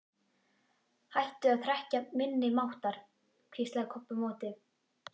Hætta að hrekkja minni máttar, hvíslaði Kobbi á móti.